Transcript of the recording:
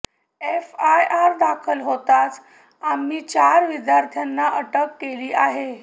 FIR दाखल होताच आम्ही चार विद्यार्थ्यांना अटक केली आहे